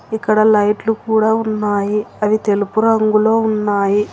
ఇక్కడ లైట్లు కూడా ఉన్నాయి అవి తెలుపు రంగులో ఉన్నాయి.